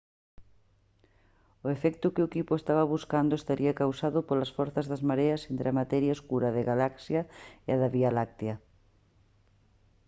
o efecto que o equipo estaba buscando estaría causado polas forzas das mareas entre a materia escura da galaxia e a da vía láctea